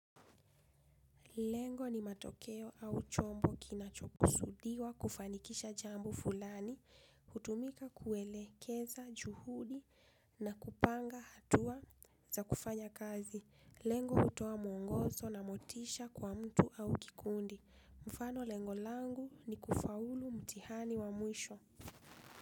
Lengo ni matokeo au chombo kina chokusudiwa kufanikisha jambo fulani, hutumika kuelekeza juhudi na kupanga hatua za kufanya kazi. Lengo hutoa mwongozo na motisha kwa mtu au kikundi. Mfano lengolangu ni kufaulu mtihani wa mwisho.